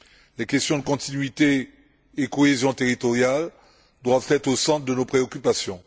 Les questions de continuité et de cohésion territoriale doivent être au centre de nos préoccupations.